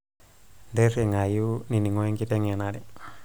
intirringayu nining'o ee enkiteng'enare